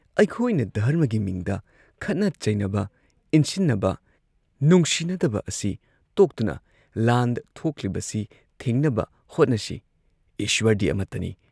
"ꯑꯩꯈꯣꯏꯅ ꯙꯔꯃꯒꯤ ꯃꯤꯡꯗ ꯈꯠꯅ ꯆꯩꯅꯕ, ꯏꯟꯁꯤꯟꯅꯕ, ꯅꯨꯡꯁꯤꯅꯗꯕ ꯑꯁꯤ ꯇꯣꯛꯇꯨꯅ ꯂꯥꯟ ꯊꯣꯛꯂꯤꯕꯁꯤ ꯊꯤꯡꯅꯕ ꯍꯣꯠꯅꯁꯤ ꯏꯁ꯭ꯋꯔꯗꯤ ꯑꯃꯠꯇꯅꯤ ꯫